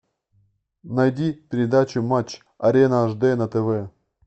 найди передачу матч арена ашди на тв